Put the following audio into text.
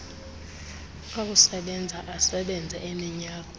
okusebenza asebenza iminyaka